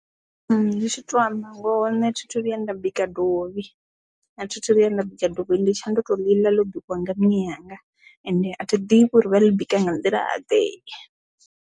Ndi tshi tou manngo hone thithu vhuya nda bika dovhi na thithu vhuya nda bika dovhi ndi tsha ndo to ḽi ḽo bikiwa nga nnyi yanga ende a thi ḓivhi uri vha ḽi bika nga nḓila ḓe.